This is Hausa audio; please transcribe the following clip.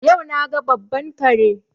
Yau na ga babban kare.